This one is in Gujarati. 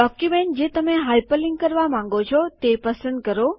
ડોક્યુમેન્ટ જે તમને હાયપરલીન્ક કરવા માંગો છો તે પસંદ કરો